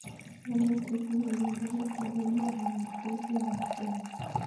Lagok che tinye miondo nitok ko much konyor kelchin nepo somanet